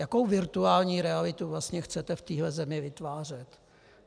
Jakou virtuální realitu vlastně chcete v téhle zemi vytvářet?